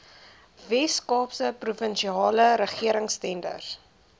weskaapse provinsiale regeringstenders